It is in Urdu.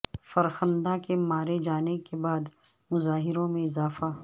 فرخندہ کے مارے جانے کے بعد مظاہروں میں اضافہ